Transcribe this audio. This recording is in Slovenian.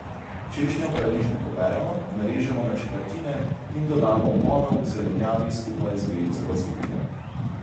Češnjev paradižnik operemo, narežemo na četrtine in dodamo v ponev k zelenjavi skupaj z vejico bazilike.